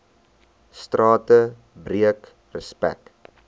strate breek respek